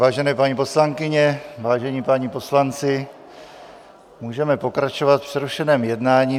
Vážené paní poslankyně, vážení páni poslanci, můžeme pokračovat v přerušeném jednání.